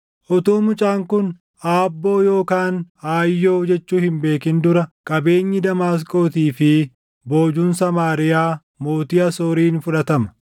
Utuu mucaan kun ‘Aabboo’ yookaan ‘Aayyoo’ jechuu hin beekin dura qabeenyi Damaasqootii fi boojuun Samaariyaa mootii Asooriin fudhatama.”